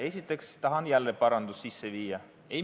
Esiteks tahan jälle paranduse sisse viia.